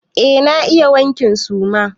Eh na iya wankin suma.